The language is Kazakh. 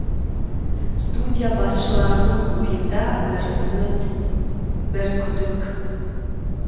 студия басшыларының ойында бір үміт бір күдік